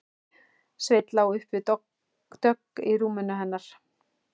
Sveinn lá upp við dogg í rúminu hennar.